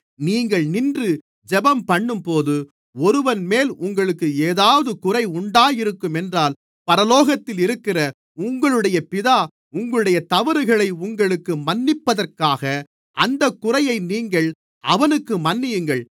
நீங்கள் நின்று ஜெபம்பண்ணும்போது ஒருவன்மேல் உங்களுக்கு ஏதாவது குறை உண்டாயிருக்கும் என்றால் பரலோகத்தில் இருக்கிற உங்களுடைய பிதா உங்களுடைய தவறுகளை உங்களுக்கு மன்னிப்பதற்காக அந்தக் குறையை நீங்கள் அவனுக்கு மன்னியுங்கள்